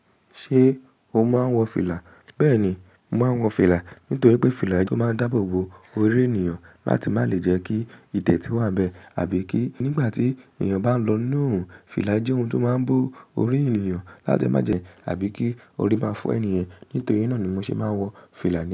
Ṣé o máa ń wọ fìlà? Bẹ́ẹ̀ni, mo máa ń wọ fìlà. Nítorí pé fìlà jẹ́ ohun tó máa ń dáàbò bo orí ènìyàn láti má lè jẹ́ kí ìdètí wà n bẹ́ àbí kí nígbà tí èyàn bá ń lọ nínu orùn, fìlà jẹ́ ohun tó máa ń bo orí èyàn láti má jẹ́ àbí kí orí má fọ́ ènìyàn. Nítorí náà ni mo ṣe máa ń wọ fìlà ní.